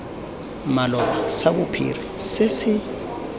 maloba sa bophiri se se